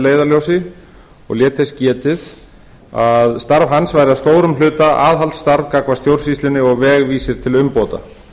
leiðarljósi og lét þess getið að starf hans væri að stórum hluta aðhaldsstarf gagnvart stjórnsýslunni og vegvísir til umbóta